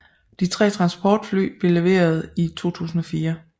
De 3 transportfly blev leveret i 2004